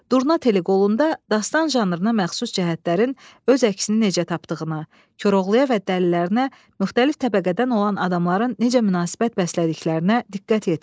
Durna Teli qolunda dastan janrına məxsus cəhətlərin öz əksini necə tapdığına, Koroğluya və dəlilərinə müxtəlif təbəqədən olan adamların necə münasibət bəslədiklərinə diqqət yetirin.